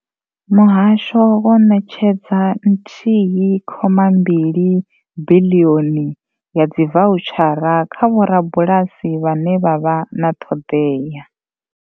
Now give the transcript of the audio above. Muhasho wo ṋetshedza nthihi khoma mbili biḽioni ya dzivoutshara kha vho rabulasi vhane vha vha na ṱhoḓeya.